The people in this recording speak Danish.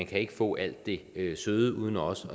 kan få alt det søde uden også